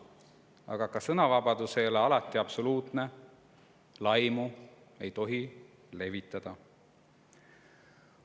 Aga ka see ei ole alati absoluutne, ei tohi laimu levitada.